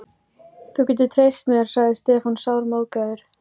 Háskóla Íslands, en hinn verið dómari við Mannréttindadómstól Evrópu